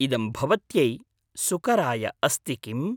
इदं भवत्यै सुकराय अस्ति किम्?